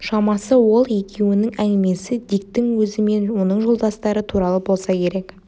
шамасы ол екеуінің әңгімесі диктің өзі мен оның жолдастары туралы болса керек